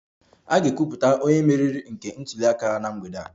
A ga-ekwupụta onye mmeri nke ntuli aka na mgbede a